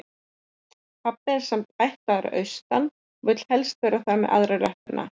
Pabbi er sem sagt ættaður að austan og vill helst vera þar með aðra löppina.